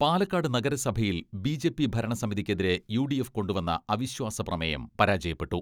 പാലക്കാട് നഗരസഭയിൽ B J P ഭരണ സമിതിക്കെതിരെ യു ഡി എഫ് കൊണ്ടുവന്ന അവിശ്വാസപ്രമേയം പരാജയപ്പെട്ടു.